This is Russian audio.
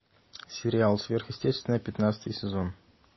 сериал сверхъестественное пятнадцатый сезон